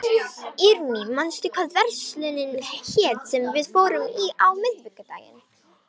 Irmý, manstu hvað verslunin hét sem við fórum í á miðvikudaginn?